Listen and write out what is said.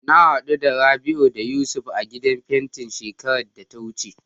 Na haɗu da Rabi'u da Yusuf a gidan fentin shekarar da ta wuce.